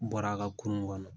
Bɔra a ka kurun kɔnɔ